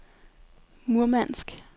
Murmansk